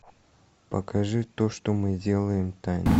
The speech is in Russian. покажи то что мы делаем тайна